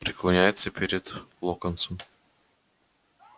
преклоняется перед локонсом